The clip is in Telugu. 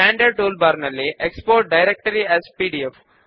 ఫామ్ బాక్ గ్రౌండ్ గా గ్రే కలర్ ను ఎంచుకోండి